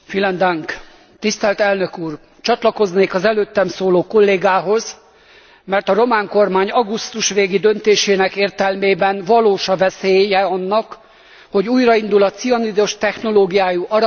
Csatlakoznék az előttem szóló kollégához, mert a román kormány augusztus végi döntésének értelmében valós a veszélye annak, hogy újraindul a cianidos technológiájú aranykitermelés Verespatakon.